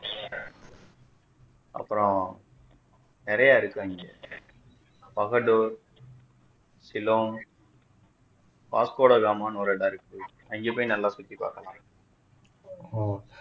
அப்பொரம் நிறைய இருக்கும் அங்க பகடூர் சிலோன் பாஸ்கோடகாமான்னு ஒரு இடம் இருக்கு அங்க போய் நல்லா சுத்தி பார்க்கலாம்